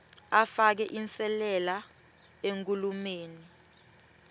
afake inselele enkhulumeni